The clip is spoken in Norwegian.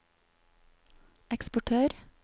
eksportør